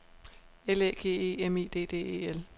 L Æ G E M I D D E L